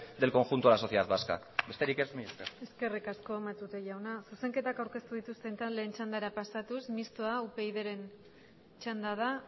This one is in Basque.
del conjunto de la sociedad vasca besterik ez mila ezker eskerrik asko matute jauna zuzenketak aurkeztu dituzten taldeen txandara pasatuz mistoa upydren txanda da